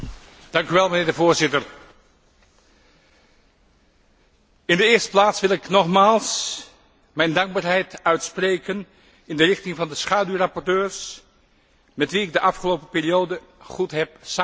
Voorzitter, in de eerste plaats wil ik nogmaals mijn dankbaarheid uitspreken aan de schaduwrapporteurs met wie ik de afgelopen periode goed heb samengewerkt.